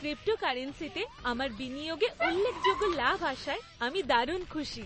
ক্রিপ্টোকারেন্সিতে আমার বিনিয়োগে উল্লেখযোগ্য লাভ আসায় আমি দারুণ খুশি।